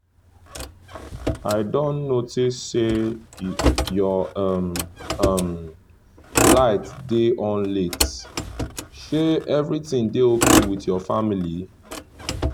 i don notice say your um um light dey on late — shey everything dey okay with your family?